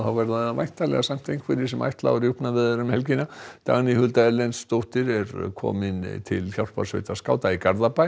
verða nú væntanlega samt einhverjir sem ætla á rjúpnaveiðar um helgina Dagný Hulda Erlendsdóttir er komin til hjálparsveitar skáta í Garðabæ